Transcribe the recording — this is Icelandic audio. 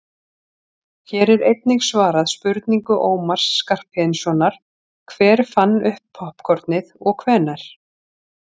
hér er einnig svarað spurningu ómars skarphéðinssonar „hver fann upp poppkornið og hvenær“